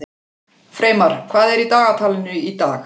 Freymar, hvað er í dagatalinu í dag?